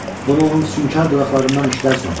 Bunu onun sünkar dodaqlarından eşidərsən.